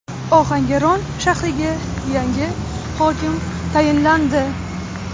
Ohangaron shahriga yangi hokim tayinlandi.